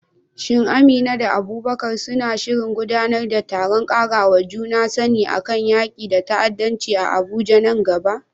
Shin Amina da Abubakar suna shirin gudanar da taron ƙarawa juna sani kan yaƙi da ta'addanci a Abuja nan gaba?